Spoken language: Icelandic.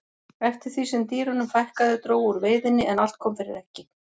eftir því sem dýrunum fækkaði dró úr veiðinni en allt kom fyrir ekki